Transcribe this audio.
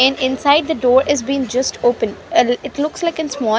And inside the door is been just open. Ah it looks like a small --